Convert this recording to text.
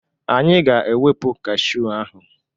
Anyị ga-ewepụ kashụ ahụ.